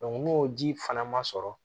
n'o ji fana ma sɔrɔ